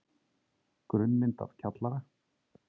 Grunnmynd af kjallara.